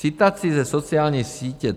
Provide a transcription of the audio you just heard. Citací ze sociální sítě